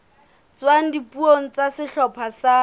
tswang dipuong tsa sehlopha sa